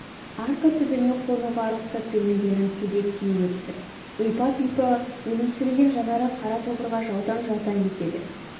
арка түбіне қонуға рұқсат бермегенін тілге тиек етті ұйпа-тұйпа өлусіреген жанары қара тобырға жаутаң-жаутаң етеді